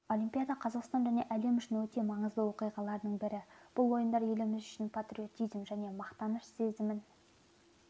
олимпиадақазақстан және әлем үшін өте маңызды оқиғалардың бірі бұл ойындар еліміз үшін патриотизм және мақтаныш сезімін